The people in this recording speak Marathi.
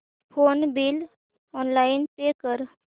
फोन बिल ऑनलाइन पे कर